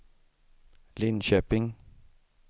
Linköping